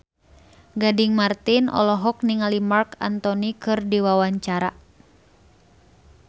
Gading Marten olohok ningali Marc Anthony keur diwawancara